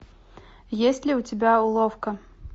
есть ли у тебя уловка